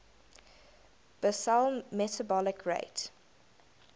basal metabolic rate